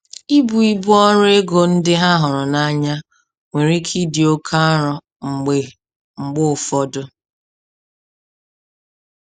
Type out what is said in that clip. Ibu ibu ọrụ ego ndị ha hụrụ n'anya nwere ike ịdị oke arọ mgbe mgbe ụfọdụ.